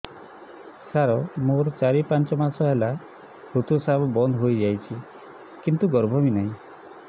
ସାର ମୋର ଚାରି ପାଞ୍ଚ ମାସ ହେଲା ଋତୁସ୍ରାବ ବନ୍ଦ ହେଇଯାଇଛି କିନ୍ତୁ ଗର୍ଭ ବି ନାହିଁ